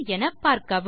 தமிழாக்கம் நித்யா